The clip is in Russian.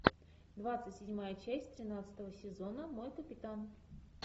двадцать седьмая часть тринадцатого сезона мой капитан